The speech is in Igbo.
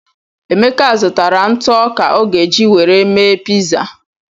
Emeka zụtara ntụ ọka o ga-eji were mee piza.